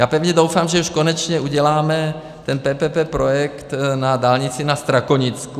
Já pevně doufám, že už konečně uděláme ten PPP projekt na dálnici na Strakonicku.